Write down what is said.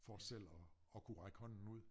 For selv at at kunne række hånden ud